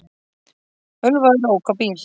Ölvaður ók á bíl